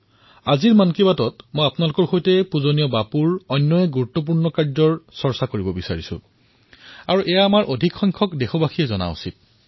আজিৰ মন কি বাতত মই আপোনালোকৰ সৈতে বাপুৰ আন এক গুৰুত্বপূৰ্ণ কাৰ্যৰ চৰ্চা কৰিব বিচাৰিছোঁ যাক দেশবাসীয়ে জনাটো উচিত